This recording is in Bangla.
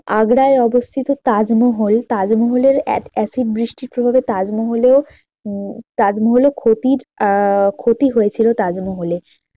আগ্রায় অবস্থিত তাজমহল, তাজমহলে acid বৃষ্টির প্রভাবে তাজমহলে উম তাজমহলে ক্ষতির আহ ক্ষতি হয়েছিল তাজমহলে